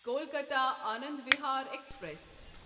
Kolkata Anand Vihar express